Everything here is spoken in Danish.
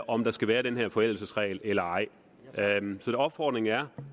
om der skal være den her forældelsesregel eller ej så opfordringen er